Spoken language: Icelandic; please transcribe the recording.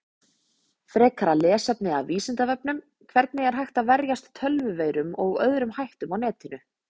Frekara lesefni af Vísindavefnum: Hvernig er hægt að verjast tölvuveirum og öðrum hættum á netinu?